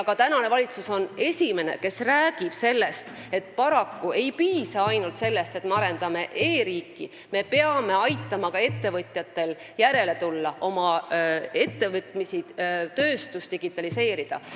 Praegune valitsus räägib ka esimesena sellest, et paraku ei piisa ainult e-riigi arendamisest – me peame aitama ka ettevõtjatel järele tulla, neil oma ettevõtmisi ja tööstust digitaliseerida.